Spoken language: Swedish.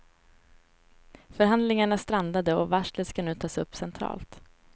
Förhandlingarna strandade och varslet ska nu tas upp centralt.